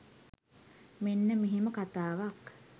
මෙන්න මෙහෙම කතාවක්.